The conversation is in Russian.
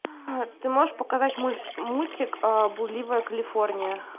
ты можешь показать мультик блудливая калифорния